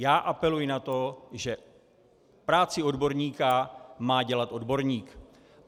Já apeluji na to, že práci odborníka má dělat odborník.